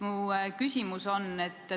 Mu küsimus on selline.